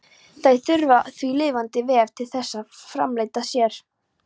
Þær þurfa því lifandi vef til þess að framfleyta sér.